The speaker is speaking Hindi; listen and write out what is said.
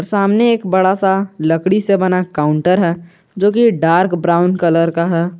सामने एक बड़ा सा लकड़ी से बना काउंटर है जो की डार्क ब्राउन कलर का है।